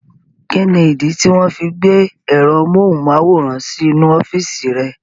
Kíni ìdí tí wọ́n fi gbé ẹ̀rọ amóhùnmáwòrán sí inú ọ́fìsì rẹ̀?